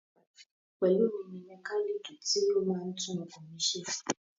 Pelumi ni mẹkálíìkì tí ó máa ń tún ọkọ̀ mi ṣe.